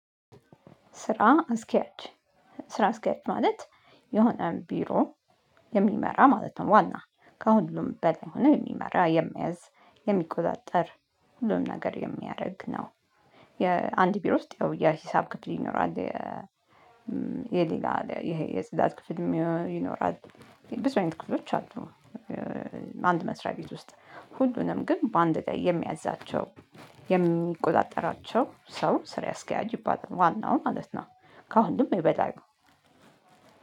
ስራ አስኪያጅ ስራ አስኪያጅ ማለት የሆነ ቢሮ የሚመራ ማለት ነው ዋና ከሁሉም በል ሆነ የሚመራ የሚያዝዝ የሚቆጣጠር ሁሉም ነገር የሚያደርግ ነው። የአንድ ቢሮ ውስጥ ያው የሂሳብ ክፍል ይኖራል። የሌላ ይሄ የጽዳት ክፍልም ይኖራል። ብዙ አይነት ክፍሎች አሉ። አንድ መስሪያ ቤት ውስጥ ሁሉንም ግን በአንድ ጊዜ የሚያዛቸው የሚቆጣጠራቸው ሰው ስራ አስከያጅ ይባላል ዋናው ማለት ነው። ከአሁሉም የበላይ